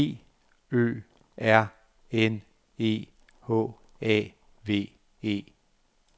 B Ø R N E H A V E